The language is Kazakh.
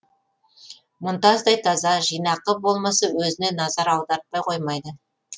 мұнтаздай таза жинақы болмысы өзіне назар аудартпай қоймайды